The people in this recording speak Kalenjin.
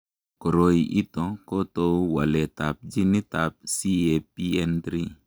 Koroi ito kotou waletab ginitab CAPN3.